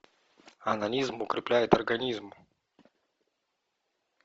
онанизм укрепляет организм